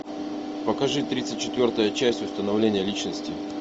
покажи тридцать четвертая часть установление личности